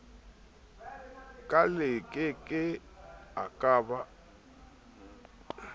ka lekeke e ka ba